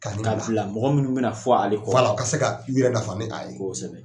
Ka bila mɔgɔ minnu bɛ na fɔ ale kɔ o ka se k'o yɛrɛ nafa ni a ye kosɛbɛ.